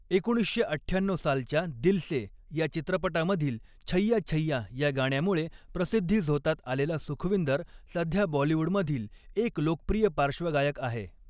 एकोणीसशे अठ्ठ्याण्णऊ सालच्या दिल से ह्या चित्रपटामधील छैया छैया ह्या गाण्यामुळे प्रसिद्धीझोतात आलेला सुखविंदर सध्या बॉलिवूडमधील एक लोकप्रिय पार्श्वगायक आहे.